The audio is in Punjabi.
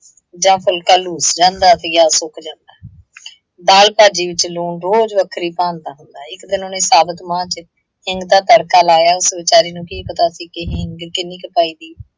ਜਾਂ ਫੁਲ਼ਕਾ ਲੂਸ ਜਾਂਦਾ ਤੇ ਜਾਂ ਉਹ ਸੁੱਕ ਜਾਂਦਾ। ਦਾਲ - ਭਾਜੀ ਵਿੱਚ ਲੂਣ ਰੋਜ਼ ਵੱਖਰੀ ਭਾਂਤ ਦਾ ਹੁੰਦਾ। ਇੱਕ ਦਿਨ ਉਹਨੇ ਸਾਬਤ ਮਾਂਹ ਚ ਹਿੰਗ ਦਾ ਤੜਕਾ ਲਾਇਆ, ਉਸ ਵਿਚਾਰੇ ਨੂੰ ਕੀ ਪਤਾ ਸੀ ਕਿ ਹਿੰਗ ਕਿੰਨੀ ਕੁ ਪਾਈਦੀ,